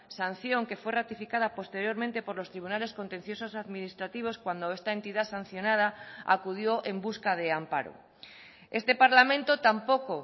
sanción que fue ratificada posteriormente por los tribunales contenciosos administrativos cuando esta entidad sancionada acudió en busca de amparo este parlamento tampoco